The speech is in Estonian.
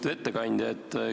Lugupeetud ettekandja!